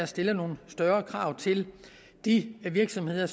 stillet nogle større krav til de virksomheder